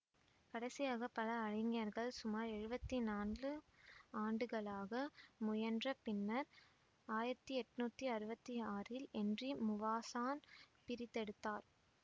கடைசியாக பல அறிஞர்கள் சுமார் எழுவத்தி நான்கு ஆண்டுகளாக முயன்ற பின்னர் ஆயிரத்தி எட்ணூத்தி அறுவத்தி ஆறில் என்றி முவாசான் பிரித்தெடுத்தார்